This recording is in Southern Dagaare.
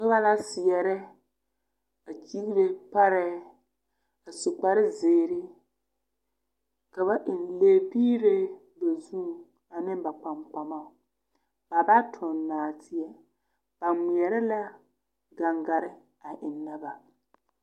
Noba la seɛrɛ a ɡyiɡere parɛɛ a su kparziiri ka ba eŋ lɛbiiree ba zuŋ ane ba kpaŋkpamaŋ ba ba toɡi nɔɔteɛ ba ŋmeɛrɛ la ɡaŋɡare a ennɛ ba.